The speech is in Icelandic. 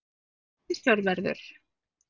Hann er viðsjárverður.